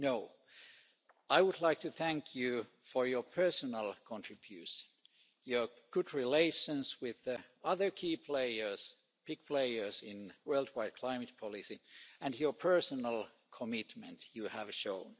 No, I would like to thank you for your personal contribution, your good relations with the other key players the big players in worldwide climate policy and the personal commitment you have shown.